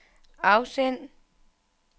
afsend